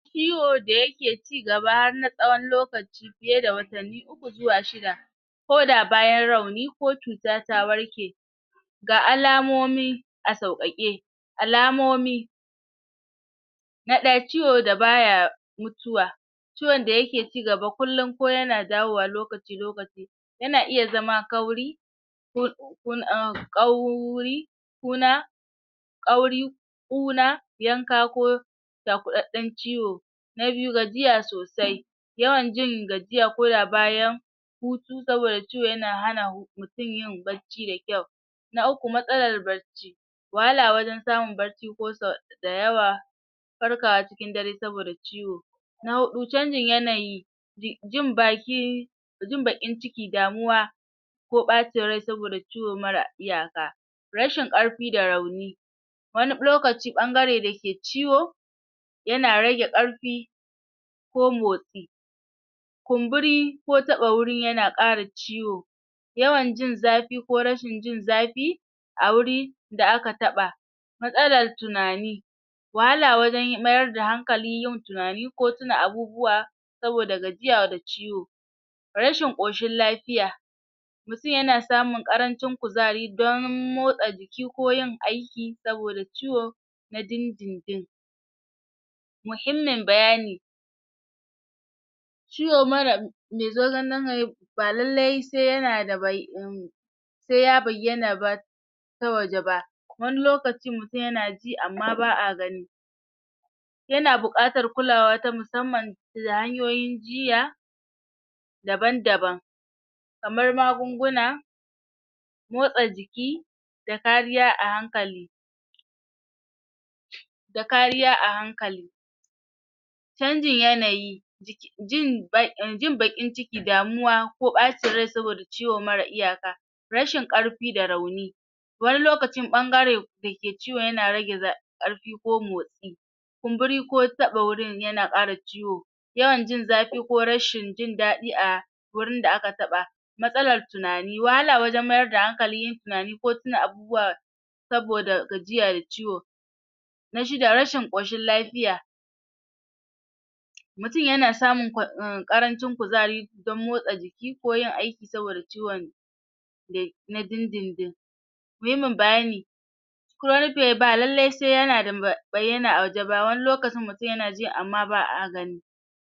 ciwo da yake ci gaba har na tsawon lokaci fiye da watanni uku zuwa shida ko da bayan rauni ko cuta ta warke ga alamomi a sauƙaƙe alamomi na ɗaya ciwo da baya mutuwa ciwon da yake cigaba kullum ko yana dawowa lokaci-lokaci yana iya zama kauri ko um ƙauri kuna ƙauri ƙuna yanka ko cakuɗaɗɗen ciwo na biyu gajiya sosai yawan jin gajiya ko da bayan hutu saboda ciwo yana hana mutum yin barci da kyau na uku matsalar barci wahala wajen samun barci ko da yawa farkawa cikin dare saboda ciwo na huɗu canjin yanayi jin baki jin baƙin ciki damuwa ko ɓacin rai saboda ciwo marar iyaka rashin ƙarfi da rauni wani lokaci ɓangare da ke ciwo yana rage ƙarfi ko motsi kumburi ko taɓa gurin yana ƙara ciwo yawan jin zafi ko rashin jin zafi a wuri da aka taɓa matsalar tunani wahala wajen mayar da hankali yin tunani ko tuna abubuwa saboda gajiya da ciwo rashin ƙoshin lafiya mutum yana samun ƙarancin kuzari don motsa jiki ko yin aiki saboda ciwo na din-din-din muhimmin bayani ciwo marar ba lallai se yana da se ya bayyana ba ta waje ba wani lokacin mutum yana ji amma ba'a gani yana buƙatar kulawa ta musamman da hanyoyin jiya daban-daban kamar magunguna motsa jiki da kariya a hankali da kariya a hankali canjin yanayi jin baƙin ciki, damuwa ko ɓacin rai saboda ciwo marar iyaka rashin ƙarfi da rauni wani lokacin ɓangare da ke ciwon yana rage ƙarfi ko motsi kumburi ko taɓa gurin yana ƙara ciwo yawan jin zafi ko rashin jin daɗi a wurin da aka taɓa matsalar tunani, wahala wajen mayar da hankali yin tunani ko tuna abubuwa saboda gajiya da ciwo na shida, rashin ƙoshin lafiya mutum yana samun um ƙarancin kuzari dan motsa jiki ko yin aiki saboda ciwon na din-din-din muhimmin bayani ba lallai se yana bayyana a waje ba wani lokaci mutum yana ji amma ba'a gani